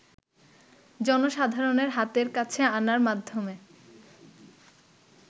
জনসাধারণের হাতের কাছে আনার মাধ্যমে